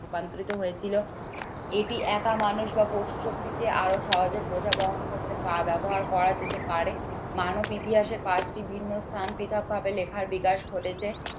রূপান্তরিত হয়েছিল এটি একা মানুষ বা পশু শক্তি দিয়ে আরো সহজে বোঝা বহন করতে পা ব্যবহার করা যেতে পারে মানব ইতিহাসের কাজটি বিভিন্ন স্থান পৃথক ভাবে লেখার বিকাশ ঘটেছে।